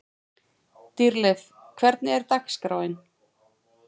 Dýrleif, hvernig er dagskráin?